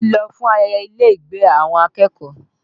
Bísí lọ fún ayẹyẹ ilé ìgbé àwọn akẹ́kọ̀ọ́